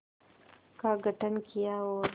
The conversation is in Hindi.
का गठन किया और